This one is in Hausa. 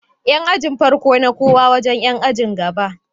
Yan ajin farko na kowo wajan Yan ajin gaba